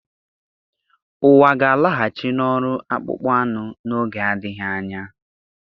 Ụwa ga-alaghachi n'ọrụ akpụkpọ anụ n'oge adịghị anya